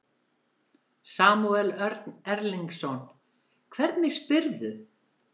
Samúel Örn Erlingsson, hvernig spyrðu?